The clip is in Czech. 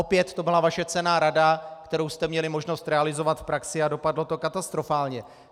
Opět to byla vaše cenná rada, kterou jste měli možnost realizovat v praxi, a dopadlo to katastrofálně.